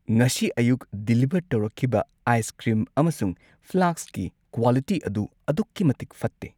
ꯉꯁꯤ ꯑꯌꯨꯛ ꯗꯤꯂꯤꯚꯔ ꯇꯧꯔꯛꯈꯤꯕ ꯑꯥꯏꯁ ꯀ꯭ꯔꯤꯝ ꯑꯃꯁꯨꯡ ꯐ꯭ꯂꯥꯁꯛꯀꯤ ꯀ꯭ꯋꯥꯂꯤꯇꯤ ꯑꯗꯨ ꯑꯗꯨꯛꯀꯤ ꯃꯇꯤꯛ ꯐꯠꯇꯦ꯫